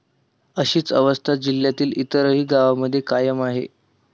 अशीच अवस्था जिल्ह्यातील इतरही गावांमध्ये कायम आहे.